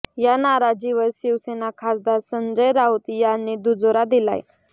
या नाराजीवर शिवसेना खासदार संजय राऊत यांनी दुजोरा दिलाय